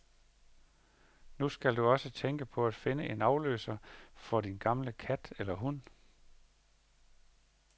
Nu skal du også tænke på at finde en afløser for din gamle kat eller hund.